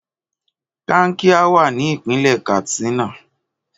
Kankia wa ni ipinle Katsina.